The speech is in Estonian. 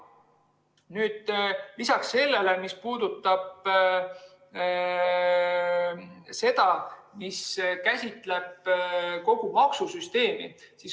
Lisaks see, mis puudutab kogu maksusüsteemi.